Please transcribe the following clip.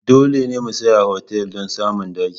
Dole ne mu tsaya a otal don samun daki.